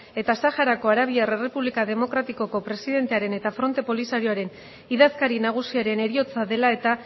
eta saharako arabiar errepublika demokratikoko presidentearen eta fronte polisarioaren idazkari nagusiaren heriotza dela eta